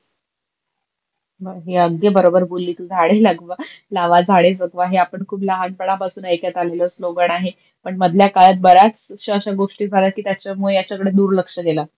हे अगदी बरोबर बोलली तु, झाडे लगवा लावा, झाडे जगवा, हे आपण खूप लहान पणा पासून ऐकत आलेल स्लोगण आहे. पण मधल्या काळात बऱ्याच अश्या अश्या गोष्टी झाल्या की त्याच्या मुळे याच्याकडे दूरलक्ष गेलं.